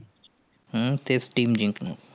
हम्म तेच team जिकणारं.